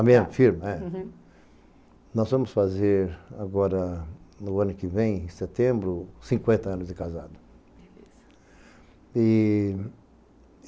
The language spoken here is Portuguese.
A minha, firme, é. Nós vamos fazer, agora, no ano que vem, em setembro, cinquenta anos de casados. Beleza. E